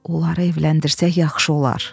"Onları evləndirsək yaxşı olar".